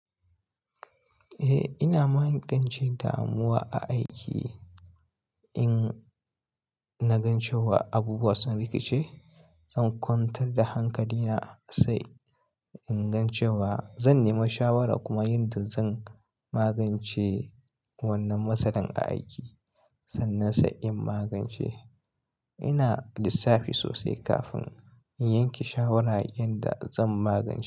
Eh ina magance damuwa a aiki in na gan cewa abubuwa sun rikice, zan kwantar da hankali na sai in gan cewa zan nema shawara kuma yin ta zan magance wannan matsalar a aiki sannan sai in magance. Ina lissafi sosai kafin in yanke shawara yanda zan magance.